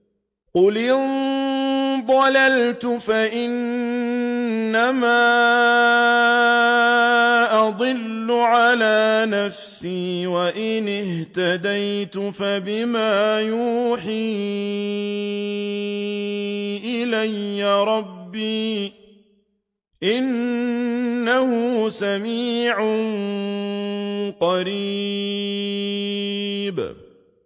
قُلْ إِن ضَلَلْتُ فَإِنَّمَا أَضِلُّ عَلَىٰ نَفْسِي ۖ وَإِنِ اهْتَدَيْتُ فَبِمَا يُوحِي إِلَيَّ رَبِّي ۚ إِنَّهُ سَمِيعٌ قَرِيبٌ